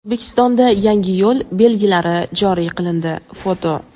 O‘zbekistonda yangi yo‘l belgilari joriy qilindi (foto).